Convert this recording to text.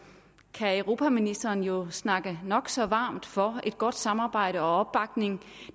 kan europaministeren jo snakke nok så varmt for et godt samarbejde og opbakning